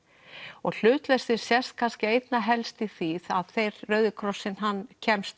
og hlutleysið sést kannski einna helst í því að þeir Rauði krossinn kemst